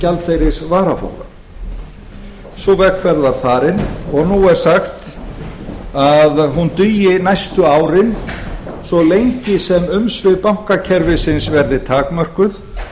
gjaldeyrisvaraforða sú vegferð var farin og nú er sagt að hún dugi næstu árin svo lengi sem umsvif bankakerfisins verði takmörkuð